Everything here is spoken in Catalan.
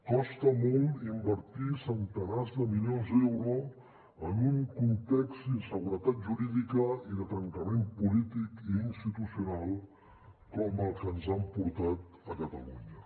costa molt invertir centenars de milions d’euros en un context d’inseguretat jurídica i de trencament polític i institucional com el que ens han portat a catalunya